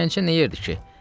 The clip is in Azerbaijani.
Gəncə nə edirdi ki?